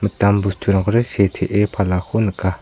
mitam bosturangkode setee palako nika.